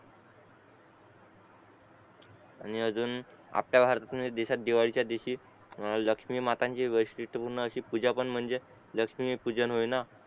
आणि अजुन आता दिशी दिवाळीचा दिवशी ए लक्ष्मी मातांची वेस्ट तिथून अशी पूजा पण म्हणजे लक्ष्मी पूजन होय ना